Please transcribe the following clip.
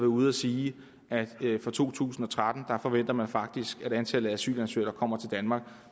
ude at sige at fra to tusind og tretten forventer man faktisk at antallet af asylansøgere der kommer til danmark